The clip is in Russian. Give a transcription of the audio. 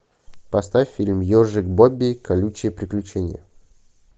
поставь фильм ежик бобби колючие приключения